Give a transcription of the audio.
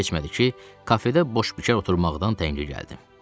Çox keçmədi ki, kafedə boş-bekar oturmaqdan təngə gəldim.